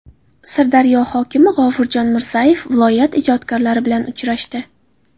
Sirdaryo hokimi G‘ofurjon Mirzayev viloyat ijodkorlari bilan uchrashdi.